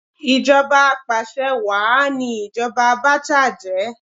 Ìjọba apàsẹ wàá ni ìjoba Abacha jẹ́